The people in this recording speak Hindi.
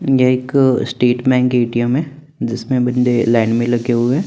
ये एक स्टेटमेंट ए_टी_ऍम है जिसमे बन्दे लाइन में लगे हुए है।